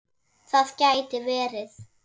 Það gæti verið